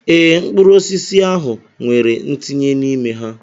Ee, mkpụrụ osisi ahụ nwere ntinye n'ime ha.